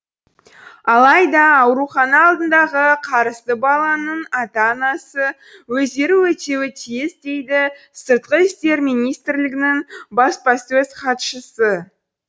алайда аурухана алдындағы қарызды баланың ата анасы өздері өтеуі тиіс дейді сыртқы істер министрлігінің баспасөз хатшысы